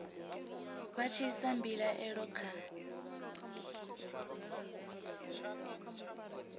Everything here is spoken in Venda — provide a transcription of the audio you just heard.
vha tshi isa mbilaelo kha